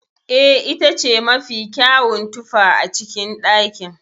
Eh, itace mafi kyawun tufa a cikin ɗakin.